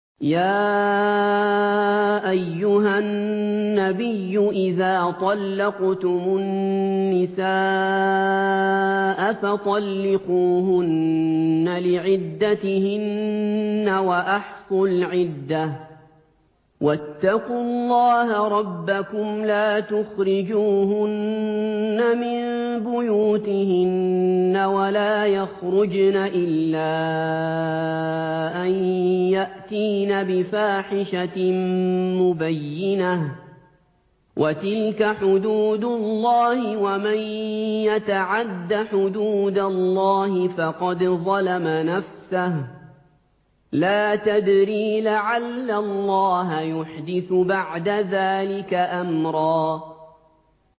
يَا أَيُّهَا النَّبِيُّ إِذَا طَلَّقْتُمُ النِّسَاءَ فَطَلِّقُوهُنَّ لِعِدَّتِهِنَّ وَأَحْصُوا الْعِدَّةَ ۖ وَاتَّقُوا اللَّهَ رَبَّكُمْ ۖ لَا تُخْرِجُوهُنَّ مِن بُيُوتِهِنَّ وَلَا يَخْرُجْنَ إِلَّا أَن يَأْتِينَ بِفَاحِشَةٍ مُّبَيِّنَةٍ ۚ وَتِلْكَ حُدُودُ اللَّهِ ۚ وَمَن يَتَعَدَّ حُدُودَ اللَّهِ فَقَدْ ظَلَمَ نَفْسَهُ ۚ لَا تَدْرِي لَعَلَّ اللَّهَ يُحْدِثُ بَعْدَ ذَٰلِكَ أَمْرًا